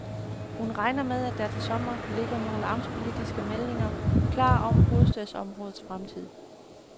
Hun regner med, at der til sommer ligger nogle amtspolitiske meldinger klar om hovedstadsområdets fremtid.